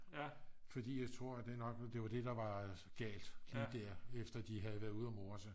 fordi jeg tror det nok var det der var galt efter de havde været ude at more sig